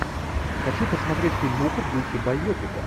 хочу посмотреть фильмуху в духе байопика